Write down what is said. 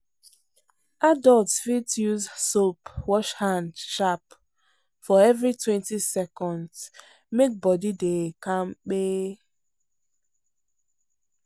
adults fit use soap wash hand sharp for everitwentyseconds make body dey kampe.